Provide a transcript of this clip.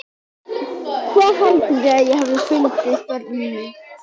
Hvað haldið þið að ég hafi fundið börnin mín?